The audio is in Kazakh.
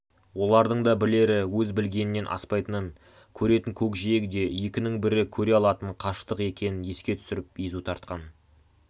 олардың да білері өз білгенінен аспайтынын көретін көкжиегі де екінің бірі көре алатын қашықтық екенін еске түсіріп езу тартқан